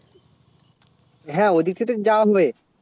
হেঁ ওদিক থেকে জাম্বে